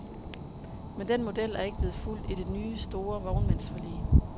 Men den model er ikke blevet fulgt i det nye store vognmandsforlig.